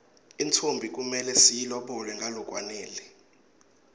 intfombi kumele siyilobole ngalokwanele